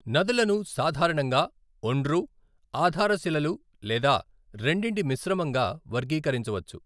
నదులను సాధారణంగా ఒండ్రు, ఆధారశిలలు లేదా రెండింటి మిశ్రమంగా వర్గీకరించవచ్చు.